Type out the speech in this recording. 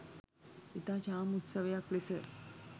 ඉතා චාම් උත්සවයක් ලෙස